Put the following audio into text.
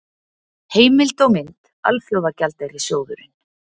Heimild og mynd: Alþjóðagjaldeyrissjóðurinn.